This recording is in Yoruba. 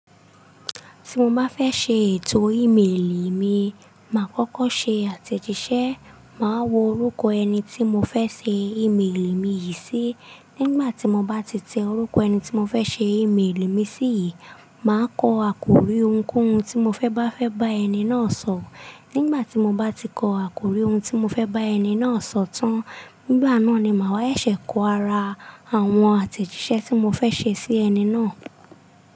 Tí mo bá fẹ́ ṣe ètò ímeèlì mi, màá kọ́kọ́ ṣe àtẹ̀jíṣẹ́, màá wo orúkọ ẹni tí mo fẹ́ ṣe ímeèlì mi yìí sí. Nígbà tí mo bá ti tẹ orúkọ ẹni tí mo fẹ́ ṣe ímeèlì mi sí yìí, màá kọ àkòrí ohunkóhun tí mo fẹ́ bá fẹ́ bá ẹni náà sọ̀. Nígbà tí mo bá ti kọ àkòrí ohun tí mo fẹ́ bá ẹni náà sọ̀ tán, nígbà náà ni màá ṣẹ̀ṣẹ̀ kọ ara àwọn àtẹ̀jíṣẹ́ tí mo fẹ́ ṣe sí ẹni náà.